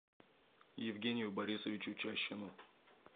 евгению борисовичу чащину